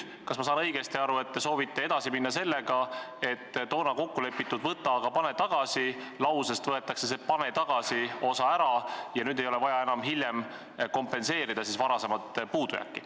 Kas ma olen õigesti aru saanud, et nüüd te soovite edasi minna sellega, et toona kokku lepitud "võta, aga pane tagasi" lausest võetakse see "pane tagasi" osa ära ja enam ei ole vaja varasemat puudujääki hiljem kompenseerida?